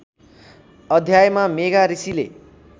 अध्यायमा मेघा ऋषिले